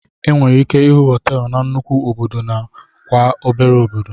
Enwere ike ịhụ hoteelu na nnukwu obodo na kwa obere obodo.